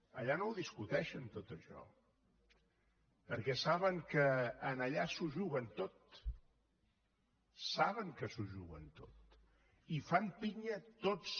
allà no ho discuteixen tot això perquè saben que allà s’ho juguen tot saben que s’ho juguen tot i fan pinya tots